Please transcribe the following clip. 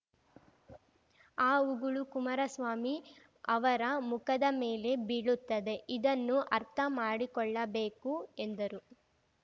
ಆ ಉಗುಳು ಕುಮಾರಸ್ವಾಮಿ ಅವರ ಮುಖದ ಮೇಲೆ ಬೀಳುತ್ತದೆ ಇದನ್ನು ಅರ್ಥ ಮಾಡಿಕೊಳ್ಳಬೇಕು ಎಂದರು